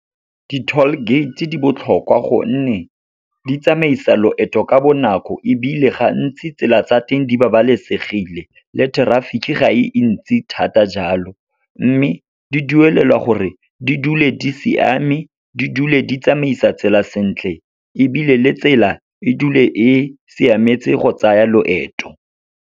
Di-toll gate-e di botlhokwa gonne, di tsamaisa loeto ka bonako, ebile gantsi tsela tsa teng di babalesegile le traffic ga e ntsi thata jalo. Mme, di duelelwa gore di dule di siame, di dule di tsamaisa tsela sentle, ebile le tsela e dule e siametse go tsaya loeto.